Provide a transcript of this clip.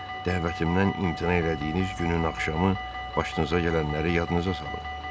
Dəvətimdən imtina elədiyiniz günün axşamı başınıza gələnləri yadınıza salın.